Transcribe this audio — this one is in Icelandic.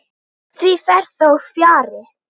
Því fer þó fjarri.